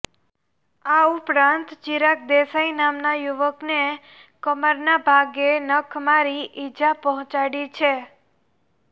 આ ઉપરાંત ચિરાગ દેસાઇ નામના યુવાનને કમરના ભાગે નખ મારી ઇજા પહોંચાડી છે